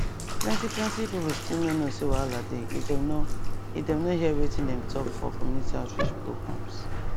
plenty plenty people still no know say wahala dey if dem nor if dem nor hear wetin dem talk for community outreach programs